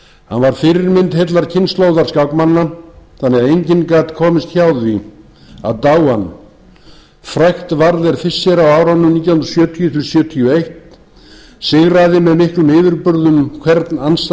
hann var fyrirmynd heillar kynslóðar skákmanna þannig að enginn gat komist hjá því að dá hann frægt varð er fischer á árunum nítján hundruð sjötíu til sjötíu og eitt sigraði með miklum yfirburðum hvern